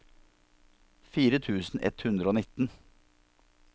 fire tusen ett hundre og nitten